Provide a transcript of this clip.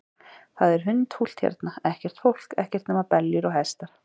Það er hundfúlt hérna, ekkert fólk, ekkert nema beljur og hestar.